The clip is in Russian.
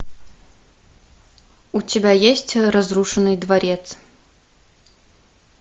у тебя есть разрушенный дворец